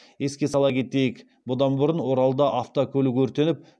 еске сала кетейік бұдан бұрын оралда автокөлік өртеніп